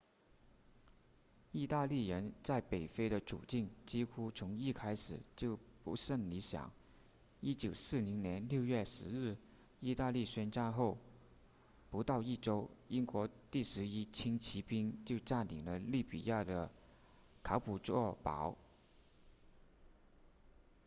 意大利人在北非的处境几乎从一开始就不甚理想1940年6月10日意大利宣战后不到一周英国第11轻骑兵就占领了利比亚的卡普佐堡